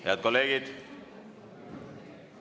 Head kolleegid!